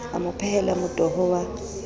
a mo phehela motoho wa